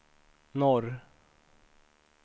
norr